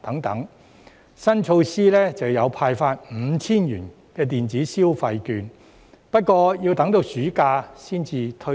預算案的新措施是派發 5,000 元電子消費券，但要等到暑假才推出。